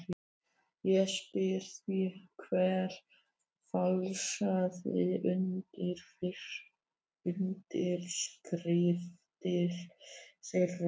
Ég spyr því: Hver falsaði undirskriftir þeirra?